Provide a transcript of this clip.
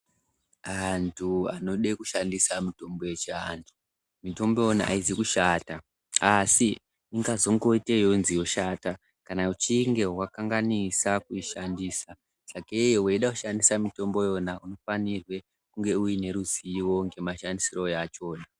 Antu anode kushandisa mitombo yechiantu mitombo iyona haizi kushata asi ingazongoitei yonzi yoshata kana uchinge wakanganisa kuishandisa sakeyo uchida kushandise mitombo yakona unofanirwe kunge une ruzivo ngemashandisiro yachona